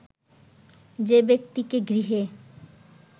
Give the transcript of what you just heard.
যে ব্যক্তিকে গৃহে